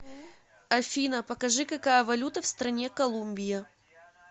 афина покажи какая валюта в стране колумбия